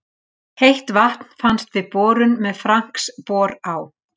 Heitt vatn fannst við borun með Franks-bor á